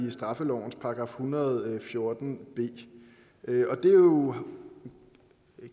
i straffelovens § en hundrede og fjorten b det er jo